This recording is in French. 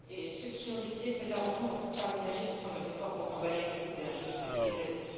Ceux qui ont décidé de cet arrangement n'ont pourtant pas ménagé leurs efforts pour emballer le tout d'un joli papier cadeau.